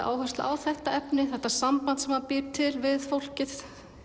áherslu á þetta efni þetta samband sem hann býr til við fólkið